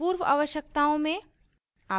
पूर्व आवश्यकताओं में